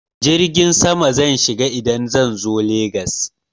Jirgin sama zan shiga idan zan zo Legas.